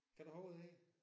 Kender du til det?